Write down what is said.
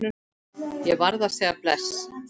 Ég varð að segja bless.